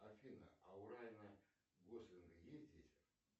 афина а у райана гослинга есть дети